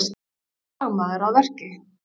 Fagmaður að verki